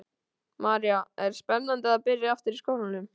María: Er spennandi að byrja aftur í skólanum?